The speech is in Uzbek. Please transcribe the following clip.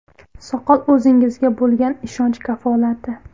Soqol o‘zingizga bo‘lgan ishonch kafolati.